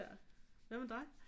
Hvad med dig